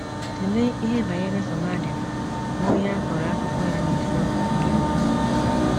Tụlee ihe banyere Somadina, bụ́ onye a kọrọ akụkọ ya n’isiokwu nke mbụ.